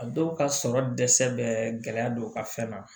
A dɔw ka sɔrɔ dɛsɛ bɛ gɛlɛya don u ka fɛn na